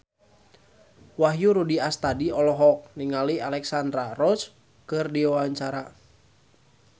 Wahyu Rudi Astadi olohok ningali Alexandra Roach keur diwawancara